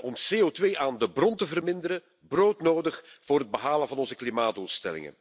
om CO2 aan de bron te verminderen broodnodig voor het behalen van onze klimaatdoelstellingen.